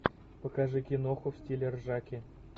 покажи киноху в стиле ржаки